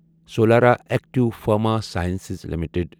Solara active pharma sciences limited